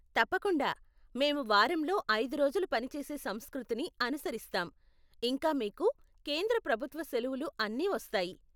తప్పకుండా, మేము వారంలో ఐదు రోజులు పని చేసే సంస్కృతిని అనుసరిస్తాం, ఇంకా మీకు కేంద్ర ప్రభుత్వ సెలవులు అన్ని వస్తాయి.